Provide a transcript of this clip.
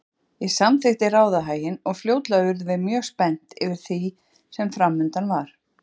Ég samþykkti ráðahaginn og fljótlega urðum við mjög spennt yfir því sem framundan var.